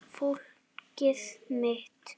Fólkið mitt.